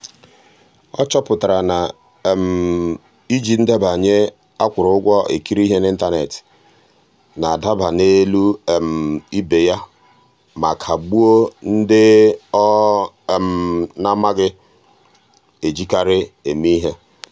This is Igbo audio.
ọ chọpụtara na iji ndebanye a kwụrụ ụgwọ ekiri ihe n'ịntanet na-adaba n'elu um ibe ya ma ka gbuo ndị ọ um naghị ejikarị eme ihe.